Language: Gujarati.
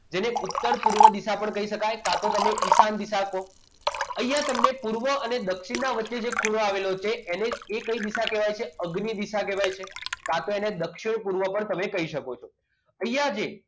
જેને ઉત્તર પૂર્વ દિશા પણ કહી શકાય કા તો તમે ઈશાન દિશા કહો. અહીંયા તમે પૂર્વ અને દક્ષિણ વચ્ચે ખૂણો જો આવેલો છે એને કઈ દિશા કહેવાય છે અગ્નિ દિશા કહેવાય છે કા તો એને દક્ષિણ પૂર્વ પણ કહી શકો અહીંયા જે